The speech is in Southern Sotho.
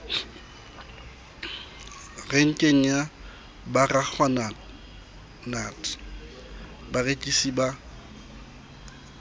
renkeng ya baragwanath barekisi ba